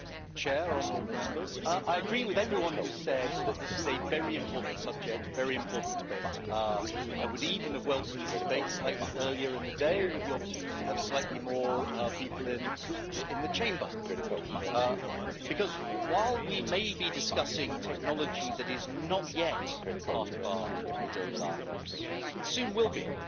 Madam President, honourable Members, I agree with everyone who said that this is a very important subject, a very important debate. I would even have welcomed this debate slightly earlier in the day, with the opportunity to have slightly more people in the Chamber, because while we may be discussing technology that is not yet part of our everyday lives, it soon will be.